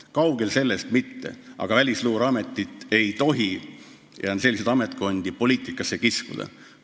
Kaugel sellest, aga Välisluureametit ei tohi – selliseid ametkondi on veel – poliitikasse kiskuda.